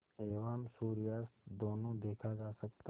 एवं सूर्यास्त दोनों देखा जा सकता है